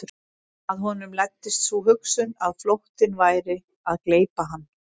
Að honum læddist sú hugsun að flóttinn væri að gleypa hann.